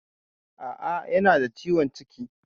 A'a, yana da ciwon ciki.